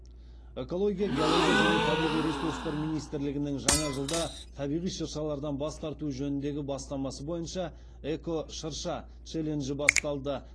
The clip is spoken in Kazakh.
экология геология және табиғи ресурстар министрлігінің жаңа жылда табиғи шыршалардан бас тарту жөніндегі бастамасы бойынша эко шырша челленджі басталды